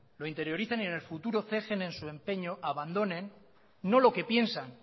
lo interioricen y en el futuro cejen en su empeño abandonen no lo que piensan